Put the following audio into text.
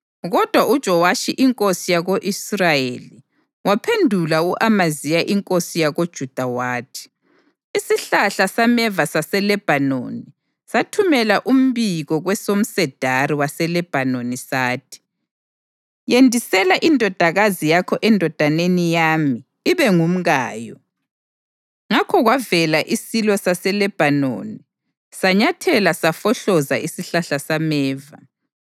Kodwa uJowashi inkosi yako-Israyeli waphendula u-Amaziya inkosi yakoJuda wathi: “Isihlahla sameva saseLebhanoni sathumela umbiko kwesomsedari waseLebhanoni sathi: ‘Yendisela indodakazi yakho endodaneni yami ibe ngumkayo.’ Ngakho kwavela isilo saseLebhanoni sanyathela safohloza isihlahla sameva.